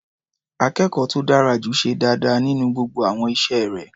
Akẹ́kọ̀ọ́ tó dára jù ṣe dáadáa nínú gbogbo àwọn iṣẹ́ rẹ̀.